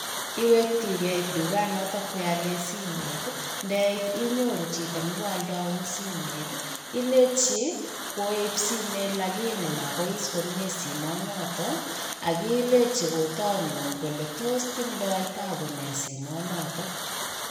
Iwekinigee tukanoton koialen simoit ndeit inyoru chito nekoaldeu simoetii ilenji koib simoet [ lakini] mobois komie simoit noton ak ilenji kotonu kole tos tindo tabu nee simoet noton.